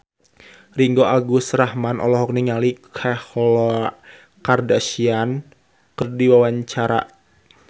Ringgo Agus Rahman olohok ningali Khloe Kardashian keur diwawancara